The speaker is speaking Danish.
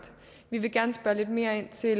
vi vil gerne spørge lidt mere ind til